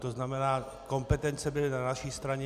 To znamená, kompetence byly na naší straně.